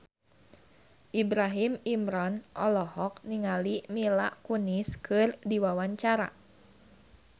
Ibrahim Imran olohok ningali Mila Kunis keur diwawancara